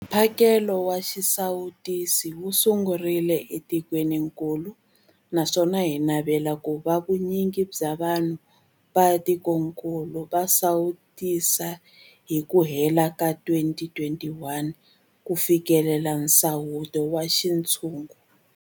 Mphakelo wa xisawutisi wu sungurile etikwenikulu naswona hi navela ku va vu nyingi bya vanhu va tikokulu va sawutisiwile hi ku hela ka 2021 ku fikelela nsawuto wa xintshungu.